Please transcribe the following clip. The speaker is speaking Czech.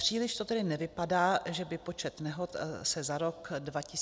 Příliš to tedy nevypadá, že by počet nehod se za rok 2019 snížil.